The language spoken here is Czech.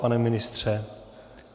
Pane ministře?